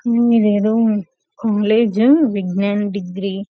ఇది ఏదో కాలేజ్ విజ్ఞానం డిగ్రీ కాలేజ్ కాలేజ్ --.